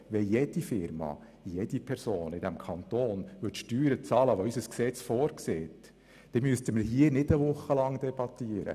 Würde jede Firma und jede Person in diesem Kanton die Steuern bezahlen, die unser Gesetz vorsieht, dann müssten wir nicht eine Woche debattieren.